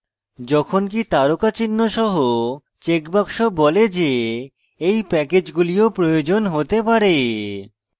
যখনকি তারকা চিহ্ন সহ চেকবাক্স বলে যে এই প্যাকেজগুলি ও প্রয়োজন হতে পারে